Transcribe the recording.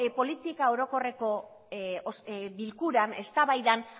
politika orokorreko bilkuran eztabaidan